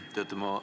Aitäh!